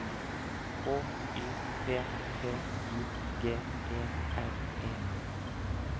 H Y P P I G E R E